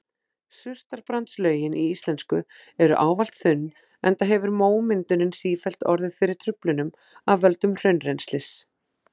Surtarbrandslögin íslensku eru ávallt þunn enda hefur mómyndunin sífellt orðið fyrir truflunum af völdum hraunrennslis.